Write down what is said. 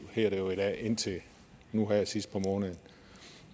hedder det jo i dag indtil nu her sidst på måneden